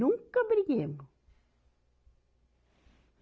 Nunca briguemos.